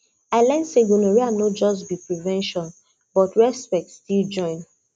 i learn say gonorrhea no just be prevention but respect still join